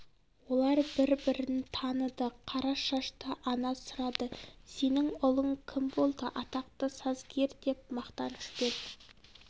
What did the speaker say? олар бір бірін таныды қара шашты ана сұрады сенің ұлың кім болды атақты сазгер деп мақтанышпен